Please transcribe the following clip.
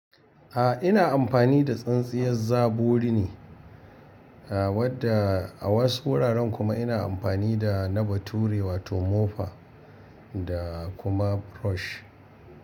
A'a ina amfani da tsintsiyar zaɓori ne, a wadda a wasu wuraren kuma ina amfani da na bature wato mofa da kuma brush.